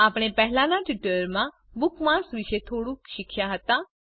આપણે પહેલાંના ટ્યુટોરીયલ માં બુકમાર્ક્સ વિશે થોડુંક શીખ્યા હતા